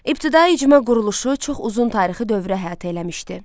İbtidai icma quruluşu çox uzun tarixi dövrü əhatə eləmişdi.